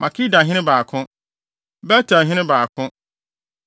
Makedahene 2 baako 1 Bet-Elhene 2 baako 1